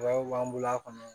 b'an bolo a kɔnɔ